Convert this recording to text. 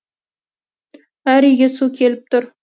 әр үйге су келіп тұр